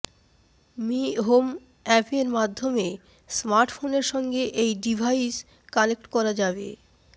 me Home অ্য়াপের মাধ্য়মে স্মার্টফোনের সঙ্গে এই ডিভাইস কানেক্ট করা যাবে